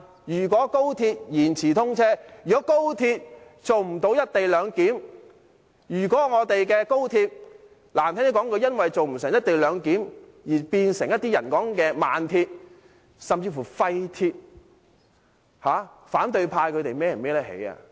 如果高鐵延遲通車，如果高鐵做不到"一地兩檢"，如果我們的高鐵，難聽點說一句，因為做不到"一地兩檢"而變成某些人說的"慢鐵"，甚至"廢鐵"，反對派能負上這個責任嗎？